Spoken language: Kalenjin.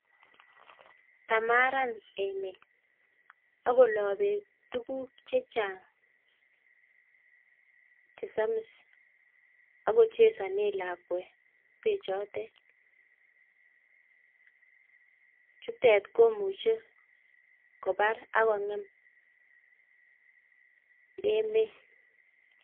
Kamaran emet ako loi beek tuguuk chechang chesamis ako chesane lakwet bechotet. Chutet komuchei kobaar ak kongem emet.